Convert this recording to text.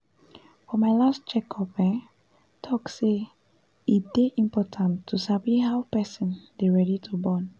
for my last check up ehntalk say e dey important to sabi how person dey ready to born